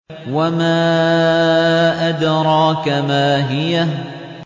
وَمَا أَدْرَاكَ مَا هِيَهْ